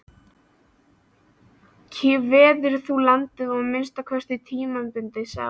Kveðurðu landið, að minnsta kosti tímabundið, sátt?